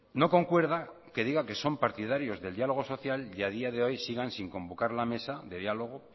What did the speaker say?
no concuerda que digan que son partidarios del diálogo social y a día de hoy sigan sin convocar la mesa de diálogo